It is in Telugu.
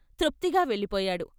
తృప్తిగా వెళ్ళిపోయాడు.